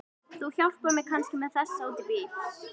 Þú hjálpar mér kannski með þessa út í bíl?